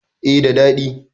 eh da dadi